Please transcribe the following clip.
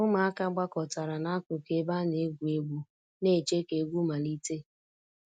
Ụmụaka gbakọtara n'akụkụ ebe a na-egwu egwu, na-eche ka egwu malite